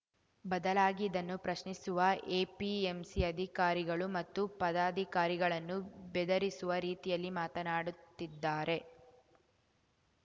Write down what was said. ಬದಲಾಗಿ ಇದನ್ನು ಪ್ರಶ್ನಿಸುವ ಎಪಿಎಂಸಿ ಅಧಿಕಾರಿಗಳು ಮತ್ತು ಪದಾಧಿಕಾರಿಗಳನ್ನು ಬೆದರಿಸುವ ರೀತಿಯಲ್ಲಿ ಮಾತನಾಡುತ್ತಿದ್ದಾರೆ